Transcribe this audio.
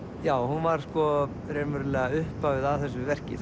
já hún var sko raunverulega upphafið að þessu verki